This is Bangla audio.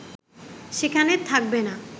সেখানে থাকবে না